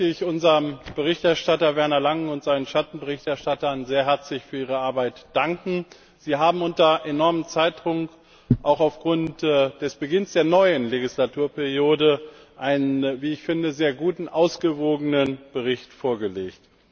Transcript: Zunächst möchte ich unserem Berichterstatter Werner Langen und seinen Schattenberichterstattern sehr herzlich für ihre Arbeit danken. Sie haben unter enormem Zeitdruck, auch aufgrund des Beginns der neuen Legislaturperiode, einen sehr guten, ausgewogenen Bericht vorgelegt.